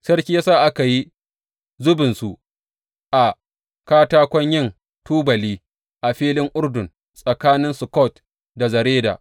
Sarki ya sa aka yi zubinsu a katakon yin tubali a filin Urdun tsakanin Sukkot da Zereda.